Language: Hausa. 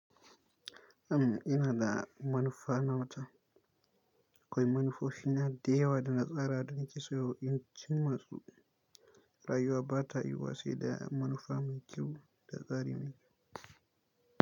Am ina da manufa nawa ta, kawai manufofina da yawa dana tsara don kiso, in cin masu rayuwa ba ta yiwuwa sai da manufa mai kyau da tsari mai kyau.